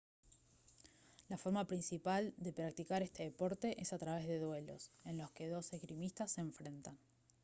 la forma principal de practicar este deporte es a través duelos en los que dos esgrimistas se enfrentan